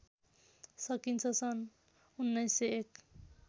सकिन्छ सन् १९०१